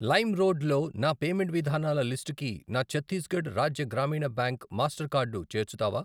Lime road లో నా payment విధానాల లిస్టుకి నా ఛత్తీస్గఢ్ రాజ్య గ్రామీణ బ్యాంక్ మాస్టర్ కార్డు చేర్చుతావా?